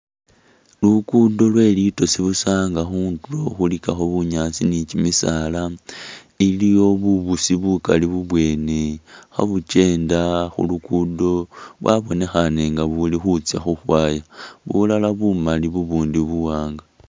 Lugudo lwe litoosi busa nga khundulo khulikhako bunyaasi ni kyimisaala iliyo bubusi bukali bubwene khabukyenda khulugudo bwabonekhana nga buli khutsya khukhwaya ,bulala bumali bubundi buwanga